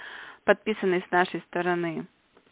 подписанный с нашей стороны